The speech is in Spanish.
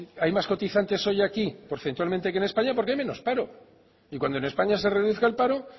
hay más cotizantes hoy aquí porcentualmente aquí en españa porque hay menos paro y cuando en españa se reduzca el paro